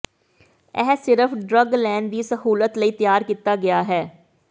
ਇਹ ਸਿਰਫ ਡਰੱਗ ਲੈਣ ਦੀ ਸਹੂਲਤ ਲਈ ਤਿਆਰ ਕੀਤਾ ਗਿਆ ਹੈ